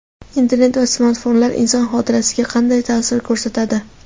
Internet va smartfonlar inson xotirasiga qanday ta’sir ko‘rsatadi?.